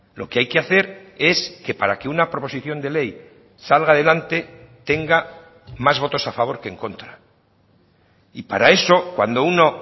lo que hay que hacer es que para que una proposición de ley salga adelante tenga más votos a favor que en contra y para eso cuando uno